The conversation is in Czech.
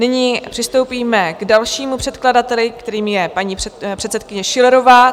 Nyní přistoupíme k dalšímu předkladateli, kterým je paní předsedkyně Schillerová.